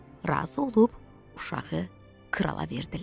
Razı olub uşağı krala verdilər.